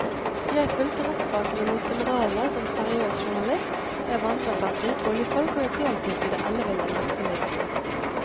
Jeg fulgte rettssakene mot generalene som seriøs journalist, jeg vandret blant rike oljefolk og jeg deltok i det elleville nattelivet.